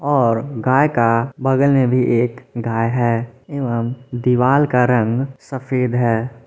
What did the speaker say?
और गाय का बगल में भी एक गाय हैं एवं दीवाल का रंग सफेद है।